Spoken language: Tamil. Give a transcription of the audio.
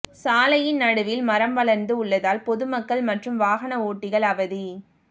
சாலையின் நடுவில் மரம் வளர்ந்து உள்ளதால் பொதுமக்கள் மற்றும் வாகன ஓட்டிகள் அவதி